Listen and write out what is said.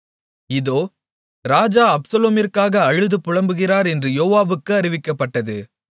இதோ ராஜா அப்சலோமிற்காக அழுது புலம்புகிறார் என்று யோவாபுக்கு அறிவிக்கப்பட்டது